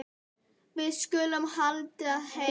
Við skulum halda heim.